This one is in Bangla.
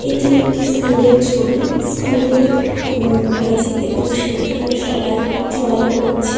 এটি একটি স্কুল এর ছবি স্কুল এর উম মেঝেতে বসে এখানে সবাই ড্রইং করছে।